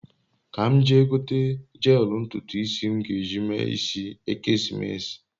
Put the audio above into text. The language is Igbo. ka m jee gote jeelu ntutu isi m ge eji mee isi ekesimeesi